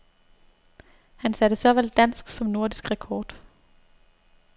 Han satte såvel dansk som nordisk rekord.